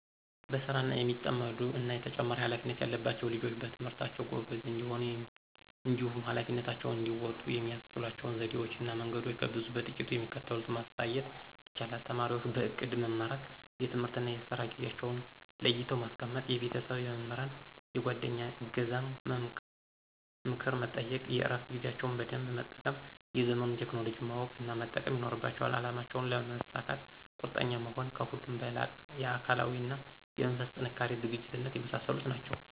በስራ የሚጠመዱ እና ተጨማሪ ሃላፊነት ያለባቸዉ ልጆች በትምህርታቸዉ ጎበዝ እንዲሆኑ እንዲሁም ኀላፊነታቸውን እንዲወጡ የሚያስችሏቸው ዘዴወች እና መንገዶች ከብዙ በጥቂቱ የሚከተሉትን ማንሳት ይቻላል:- ተማሪወች በእቅድ መመራት፤ የትምህርትና የስራ ጊዜአቸዉን ለይተው ማስቀመጥ፤ የቤተሰብ፣ የመምህራን፣ የጓደኛ እገዛን እና ምክር መጠየቅ፤ የእረፋት ጊዜያቸውን በደንብ መጠቀም፤ የዘመኑን ቴክኖሎጂ ማወቅ እና መጠቀም ይኖርባቸዋል፤ አላማቸውን ለመሳካት ቁርጠኛ መሆን፤ ከሁሉም በላቀ የአካላዊ እና የመንፈስ ጥንካሬና ዝግጁነት የመሳሰሉት ናቸዉ።